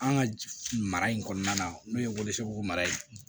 An ka mara in kɔnɔna na n'o ye warisoko mara ye